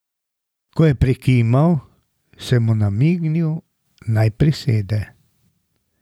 Ko je prikimal, sem mu namignil, naj prisede.